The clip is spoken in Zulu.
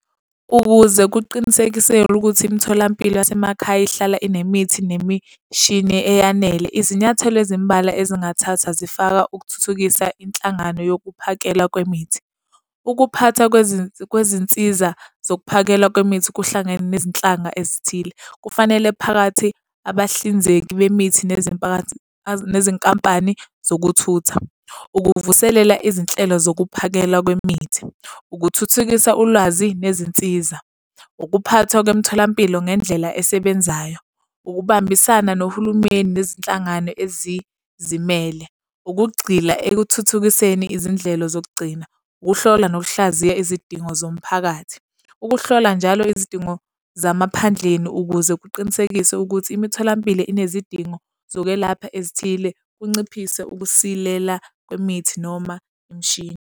Ukuze kuqinisekiselwe ukuthi imitholampilo yasemakhaya ihlala inemithi nemishini eyanele izinyathelo ezimbalwa ezingathathwa zifaka ukuthuthukisa inhlangano yokuphakela kwemithi. Ukuphathwa kwezinsiza zokuphakelwa kwemithi kuhlangene nezinhlanga ezithile. Kufanele phakathi abahlinzeki bemithi nezinkampani zokuthutha, ukuvuselela izinhlelo zokuphakelwa kwemithi, ukuthuthukisa ulwazi nezinsiza, ukuphathwa kwemtholampilo ngendlela esebenzayo, ukubambisana nohulumeni nezinhlangano ezizimele, ukugxila ekuthuthukiseni izindlela zokugcina, ukuhlola nokuhlaziya izidingo zomphakathi. Ukuhlola njalo izidingo zamaphadleni ukuze kuqinisekiswe ukuthi imitholampilo inezidingo zokwelapha ezithile, kunciphise ukusilela kwemithi noma imishini.